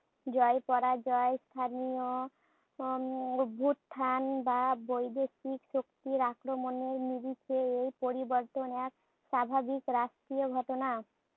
জয়-পরাজয়, স্থানীয় উম অভ্যুত্থান বা বৈদেশিক শক্তির আক্রমণে নিমিষে এই পরিবর্তন এক স্বাভাবিক রাষ্ট্রীয় ঘটনা।